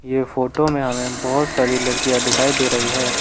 यह फोटो में हमें बहोत सारी लड़कियां दिखाई दे रही है।